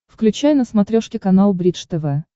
включай на смотрешке канал бридж тв